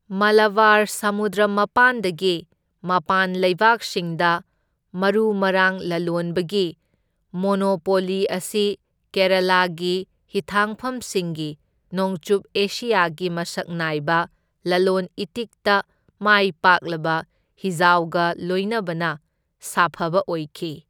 ꯃꯂꯕꯥꯔ ꯁꯃꯨꯗ꯭ꯔ ꯃꯄꯥꯟꯗꯒꯤ ꯃꯄꯥꯟ ꯂꯩꯕꯥꯛꯁꯤꯡꯗ ꯃꯔꯨ ꯃꯔꯥꯡ ꯂꯂꯣꯟꯕꯒꯤ ꯃꯣꯅꯣꯄꯣꯂꯤ ꯑꯁꯤ ꯀꯦꯔꯥꯂꯥꯒꯤ ꯍꯤꯊꯥꯡꯐꯝꯁꯤꯡꯒꯤ ꯅꯣꯡꯆꯨꯞ ꯑꯦꯁꯤꯌꯥꯒꯤ ꯃꯁꯛ ꯅꯥꯏꯕ ꯂꯂꯣꯟ ꯏꯇꯤꯛꯇ ꯃꯥꯏ ꯄꯥꯛꯂꯕ ꯍꯤꯖꯥꯎꯒ ꯂꯣꯏꯅꯕꯅ ꯁꯥꯐꯕ ꯑꯣꯏꯈꯤ꯫